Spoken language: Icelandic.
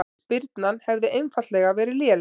Spyrnan hefði einfaldlega verið léleg